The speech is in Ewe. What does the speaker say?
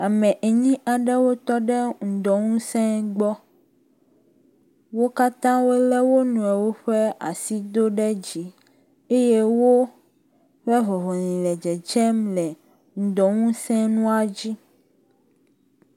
ame enyi aɖewo tɔɖe ŋudɔ ŋusē gbɔ, wókatã wóle wo niɔwo ƒe asi dó ɖe dzi eye wóƒe vɔvɔ̃li le dzedzem le ŋudɔŋusē ŋua dzi